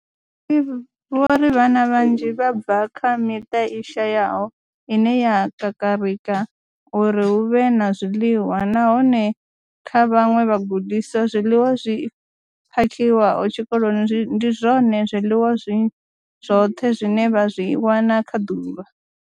Vho ri vhana vhanzhi vha bva kha miṱa i shayaho ine ya kakarika uri hu vhe na zwiḽiwa, nahone kha vhaṅwe vhagudiswa, zwiḽiwa zwi phakhiwaho tshikoloni ndi zwone zwiḽiwa zwi zwoṱhe zwine vha zwi wana kha ḓuvha.